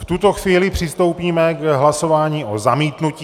V tuto chvíli přistoupíme k hlasování o zamítnutí.